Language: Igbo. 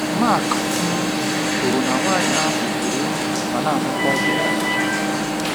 Mark um kwuru na nwanyị ahụ tụrụ egwu ma na amakwa ijiji.